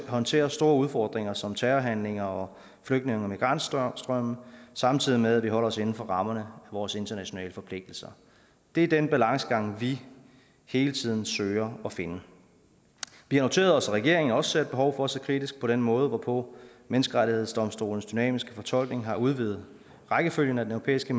håndtere store udfordringer som terrorhandlinger og flygtninge og migrantstrømme samtidig med at vi holder os inden for rammerne af vores internationale forpligtelser det er den balancegang vi hele tiden søger at finde vi har noteret os at regeringen også ser et behov for at se kritisk på den måde hvorpå menneskerettighedsdomstolens dynamiske fortolkning har udvidet rækkefølgen af den europæiske